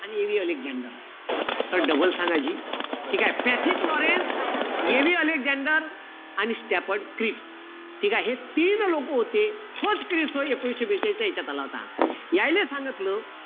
आणि AV Alexander, sir double सांगा जी. ठीकेय? पॅथिक लॉरेन्स, AV अलेक्सान्डर, आणि स्टॅफर्ड क्रिप्स. ठीकेय? हे तीन लोकं होते. एकोणीशे बेचाळीसच्या यांच्यात, आला होता. यायले सांगितलं